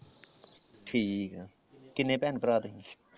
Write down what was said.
ਠੀਕ ਆ, ਕਿੰਨੇ ਭੈਣ ਭਰਾ ਤੁਸੀਂ?